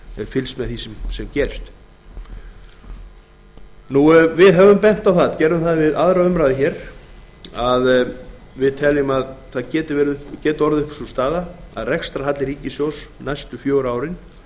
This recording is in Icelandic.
fylgst með því sem gerist við bentum á við aðra umræðu að við teljum að orðið geti uppi sú staða að rekstrarhalli ríkissjóðs næstu fjögur árin